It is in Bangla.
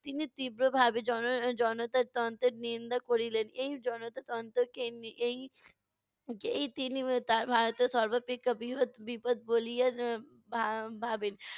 তিনি তীব্রভাবে জন~ জনতা তন্ত্রের নিন্দা করিলেন, এই জনতাতন্ত্রকে নি এই তার ভারতের সর্বাপেক্ষা বৃহৎ বিপদ বলিয়া আহ ভা~ভাবেন।